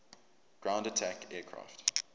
ground attack aircraft